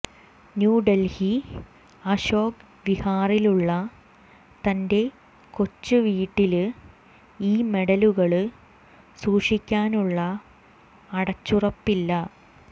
ന്യൂഡല്ഹി അശോക് വിഹാറിലുള്ള തന്റെ കൊച്ച് വീട്ടില് ഈ മെഡലുകള് സൂക്ഷിക്കാനുള്ള അടച്ചുറപ്പില്ല